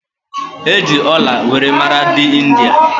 E ji ọla were mara dị India